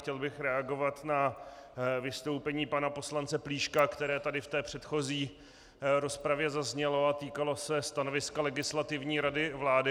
Chtěl bych reagovat na vystoupení pana poslance Plíška, které tady v té předchozí rozpravě zaznělo a týkalo se stanoviska Legislativní rady vlády.